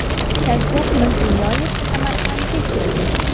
Shavkat Mirziyoyev Samarqandga keldi.